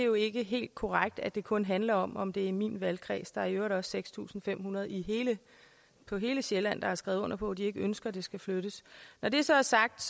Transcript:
jo ikke helt korrekt at det kun handler om om det er i min valgkreds der er i øvrigt også seks tusind fem hundrede på hele sjælland der har skrevet under på at de ikke ønsker at det skal flyttes når det så er sagt